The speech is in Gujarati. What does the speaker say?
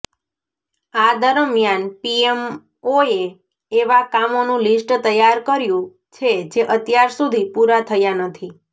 આ દરમિયાન પીએમઓએ એવા કામોનું લિસ્ટ તૈયાર કર્યુ છે જે અત્યાર સુધી પુરા થયા નથી